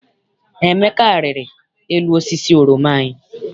Emeka riri elu osisi oroma anyị.